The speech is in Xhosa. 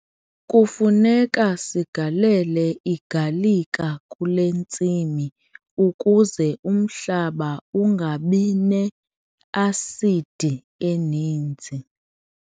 Kufuneka sigalele igalika kule ntsimi ukuze umhlaba ungabi ne-asidi eninzi.